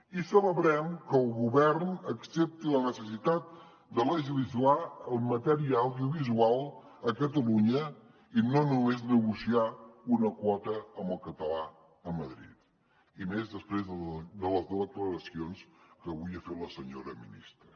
i celebrem que el govern accepti la necessitat de legislar en matèria audiovisual a catalunya i no només negociar una quota amb el català a madrid i més després de les declaracions que avui ha fet la senyora ministra